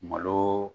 Malo